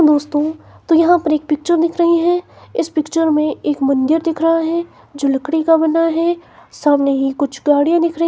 दोस्तों तो यहां पर एक पिक्चर दिख रही है इस पिक्चर में एक मंदिर दिख रहा है जो लकड़ी का बना है सामने ही कुछ गाड़ियां दिख रही--